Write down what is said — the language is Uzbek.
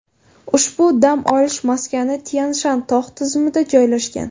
Ushbu dam olish maskani Tyan-Shan tog‘ tizimida joylashgan.